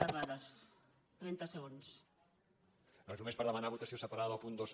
no és només per demanar votació separada del punt dos